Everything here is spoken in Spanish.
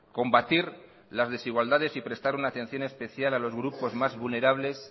combatir las desigualdades y prestar una atención especial a los grupos más vulnerables